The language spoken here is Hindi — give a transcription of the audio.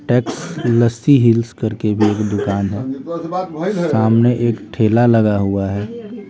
टेक्स लस्सी हिल्स करके भी एक दुकान-- है सामने एक ठेला लगा हुआ है।